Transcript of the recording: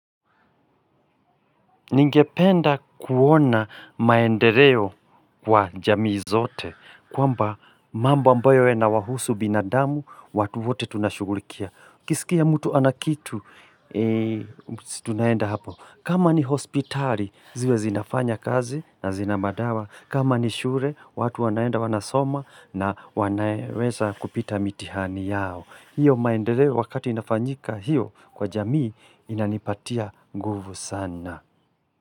Ningependa kuona maendereo kwa jamii zote kwamba mambo ambayo inawahusu binadamu watu wote tunashugulikia. Kisikia mtu anakitu tunaenda hapo. Kama ni hospitali ziwe zinafanya kazi na zina madawa. Kama ni shure watu wanaenda wanasoma na wanaweza kupita mitihani yao. Hiyo maendereo wakati inafanyika hiyo kwa jamii inanipatia nguvu sana.